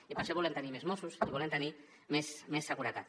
i per això volem tenir més mossos i volem tenir més seguretat